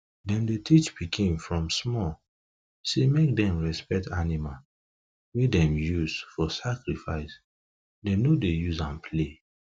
them dey teach pikin from small say make them respect animal wey them use for sacrifice them no dey use am play